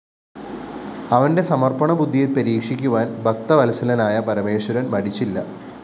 അവന്റെ സമര്‍പ്പണബുദ്ധിയെ പരീക്ഷിക്കുവാന്‍ ഭക്തവത്സലനായ പരമേശ്വരന്‍ മടിച്ചില്ല